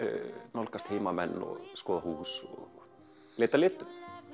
nálgast heimamenn skoða hús og leita að litum